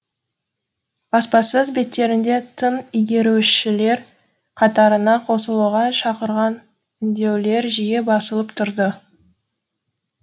баспасөз беттерінде тың игерушілер қатарына қосылуға шақырған үндеулер жиі басылып тұрды